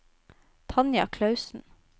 Tanja Klausen